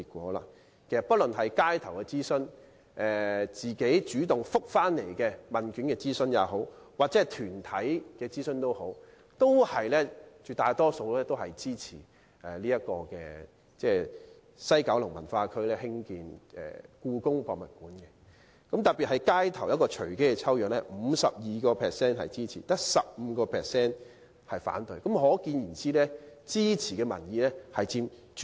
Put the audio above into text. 無論諮詢方式是街頭訪問、市民主動回答問卷抑或團體進行諮詢，絕大部分回應都支持在西九文化區興建故宮館，其中街頭隨機抽樣調查的結果更顯示，有 52% 支持，只有 15% 反對。